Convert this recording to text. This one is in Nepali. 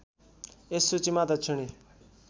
यस सूचीमा दक्षिणी